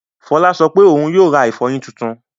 Fọlá sọ pé òun yóò ra ìfọyín tuntun.